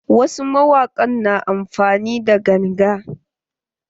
Wasu mawaƙin na amfani da ganga.